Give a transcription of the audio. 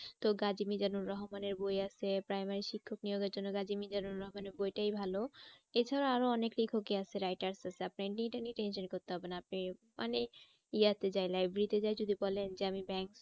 তো রহমানের বই আছে প্রাইমারি শিক্ষক নিয়োগ এর জন্য রহমানের বইটাই ভালো। এছাড়া আরো অনেক লেখকই আছে writers আছে আপনি এটা নিয়ে tension করতে হবে না আপনি মানে ইয়াতে যায় library তে যায় যদি বলেন আমি bank